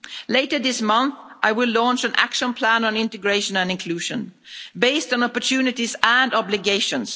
us'. Later this month I will launch an action plan on integration and inclusion, based on opportunities and obligations.